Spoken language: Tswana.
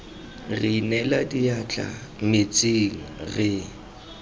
re inela diatla metsing re